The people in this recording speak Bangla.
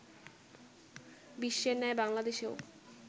বিশ্বের ন্যায় বাংলাদেশেও